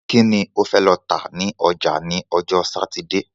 Kí ni o fẹ lọ tà ní ọjà ni ọjọ́ Sátidé?